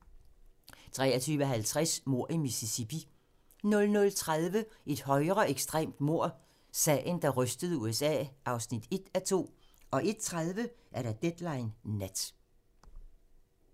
23:50: Mord i Mississippi 00:30: Et højreekstremt mord - Sagen, der rystede USA (1:2) 01:30: Deadline Nat